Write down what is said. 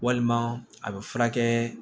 Walima a bɛ furakɛ